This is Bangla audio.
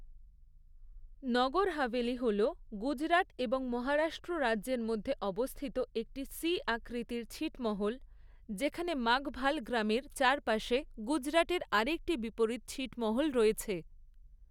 নগর হাভেলি হল গুজরাট এবং মহারাষ্ট্র রাজ্যের মধ্যে অবস্থিত একটি সি আকৃতির ছিটমহল, যেখানে মাঘভাল গ্রামের চারপাশে গুজরাটের আরেকটি বিপরীত ছিটমহল রয়েছে।